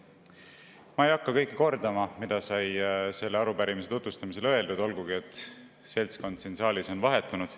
Ma ei hakka kordama kõike, mida sai selle arupärimise tutvustamisel öeldud, olgugi et seltskond siin saalis on vahetunud.